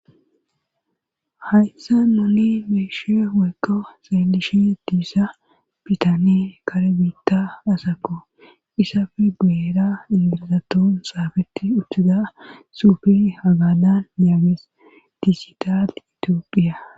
Hayssa noli meeshe weyko saelishi diissa bitane kare biitta asako isafi beera ingirizaton saafeti uttiza suufi hagadan yaagees diisital itiophiya.